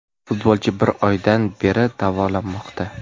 Futbolchi bir oydan beri davolanmoqda.